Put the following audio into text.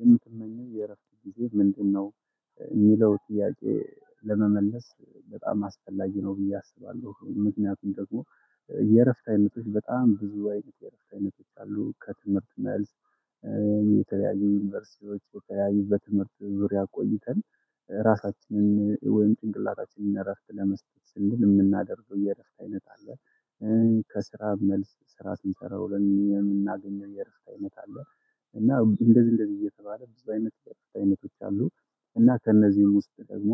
የምትመኘው የረፍት ጊዜ ምንድን ነው? የሚለው ጥያቄ ለመለስ በጣም አስፈላጊ ነው ብዬ አስባለሁ። ምክንያቱም ደግሞ የረፍት አይነቶች በጣም ብዙ አይነቶች አሉ። ከትምህርት መልስ በተለያዩ ዩኒቨርሲቲዎች የተለያዩ በትምህርት ዙሪያ ቆይተን ራሳችንን ወይም ጭንቅላታችንን እና እረፍት ለመስጠት ስል የምናደርገው የእረፍት አይነት አለ። ከስራ መልስ ስራ ስንሰራ ውለን የምናገኘው የረፍት አይነት አለ። እና እንደዚህ እንደዚህ እየተባለ ብዙ አይነት የረፍት አይነቶች አሉ። እና ከነዚህን ውስጥ ደግሞ